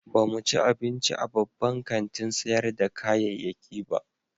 Ba mu ci abinci a babban kantin sayar da kayayyaki ba.